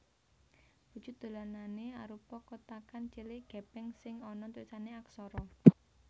Wujud dolanané arupa kotakan cilik gèpèng sing ana tulisané aksara